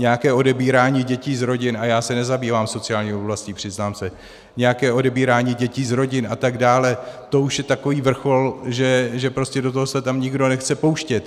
Nějaké odebírání dětí z rodin, a já se nezabývám sociální oblastí, přiznám se, nějaké odebírání dětí z rodin atd., to už je takový vrchol, že prostě do toho se tam nikdo nechce pouštět.